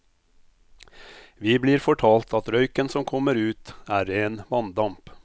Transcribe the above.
Vi blir fortalt at røyken som kommer ut, er ren vanndamp.